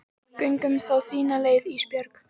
Göngum þá þína leið Ísbjörg.